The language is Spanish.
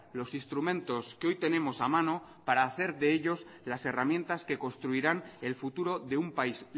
los instrumentos que hoy tenemos a mano para hacer de ellos las herramientas que construirán el futuro de un país